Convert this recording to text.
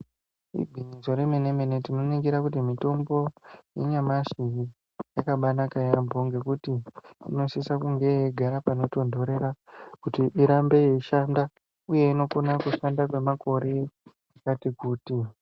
Igwinyiso remene-mene tinoningira kuti mitombo yanyamashi yakabanaka yaambo. Ngekuti inosisa kunge yeigara panotonhorera kuti irambe yeishanda, uye inokona kushanda kwemakore akati kuti.